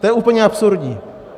To je úplně absurdní.